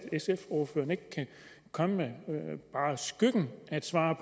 sfs ordfører ikke komme med bare skyggen af et svar